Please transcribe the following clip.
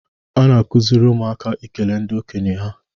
A na-akụziri ụmụaka ikele ndị okenye ha